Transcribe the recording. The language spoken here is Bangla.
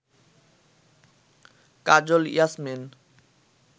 কাজল ইয়াসমিন